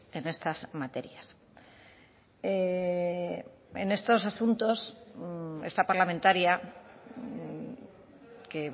en estas materias en estos asuntos esta parlamentaria que